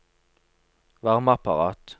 varmeapparat